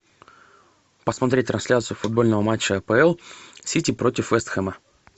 посмотреть трансляцию футбольного матча апл сити против вест хэма